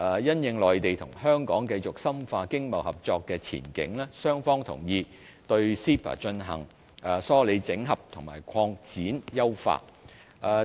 因應內地與香港繼續深化經貿合作的前景，雙方同意對 CEPA 進行梳理整合和擴展優化。